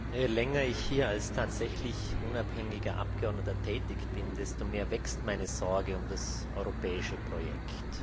Herr Präsident! Je länger ich hier als tatsächlich unabhängiger Abgeordneter tätig bin, desto mehr wächst meine Sorge um das europäische Projekt.